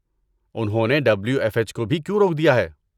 انہوں نے W F H کو بھی کیوں روک دیا ہے؟